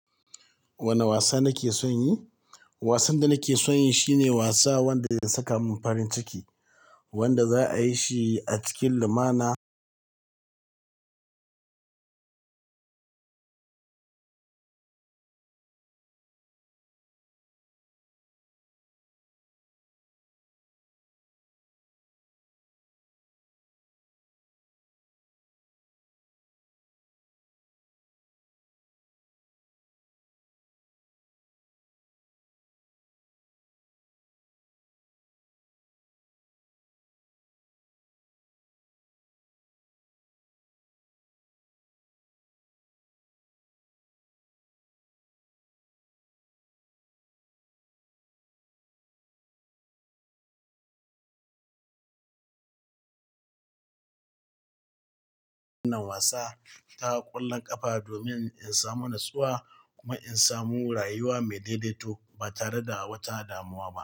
Wane wasa nake son yi? Wasan da nake son yin shine wasa wanda ya saka mun farin ciki, wanda za a yi shi a cikin lumana. Wannan wasa ta ƙulla ƙafa domin in samu natsuwa kuma in samu rayuwa mai daidaito ba tare da wata damuwa ba.